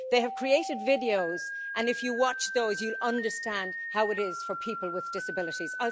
They have created videos and, if you watch those, you will understand how it is for people with disabilities.